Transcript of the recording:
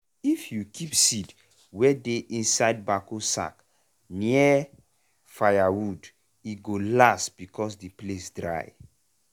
if you keep seed wey dey inside backo sack near firewood e go last because the place dry.